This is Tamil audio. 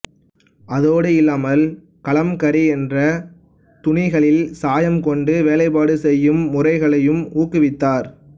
அதோடு இல்லாமல் கலம்கரி என்ற துணிகளில் சாயம் கொண்டு வேலைப்பாடு செய்யும் முறைகளையும் ஊக்குவித்தார்